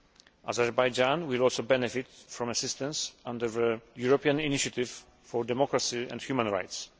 Azerbaijan will also benefit from assistance under the European initiative for democracy and human rights.